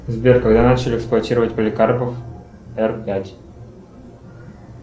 сбер когда начали эксплуатировать поликарпов р пять